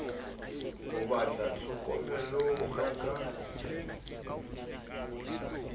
ho ba tlhokomelong ya ka